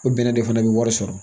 O bɛnɛ de fana bɛ wari sɔrɔ